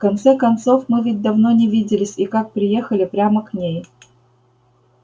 в конце концов мы ведь давно не виделись и как приехали прямо к ней